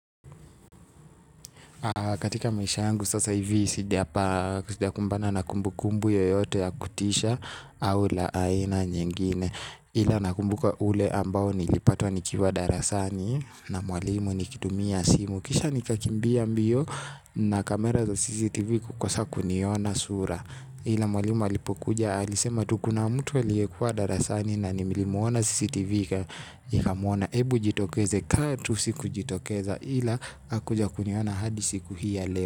Katika maisha sasa hivi sijakumbana na kumbu kumbu yoyote ya kutisha au la aina ingine. Ila nakumbuka ule ambao nilipatwa nikiwa darasani na mwalimu nikitumia simu. Kisha nikakimbia mbio na kamera za CCTV kukosa kuniona sura. Ila mwalimu alipokuja alisema tu kuna mtu aliye kwa darasani na nilimuona CCTV ikamuona. Ebu jitokeze kaa tu siku jitokeza. Hila hakuja kuniona hadi siku hii ya leo.